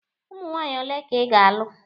Ụmụ nwaanyị ole ka ị ga-alụ?